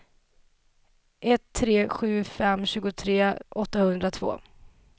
ett tre sju fem tjugotre åttahundratvå